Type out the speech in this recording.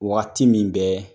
Waati min bɛ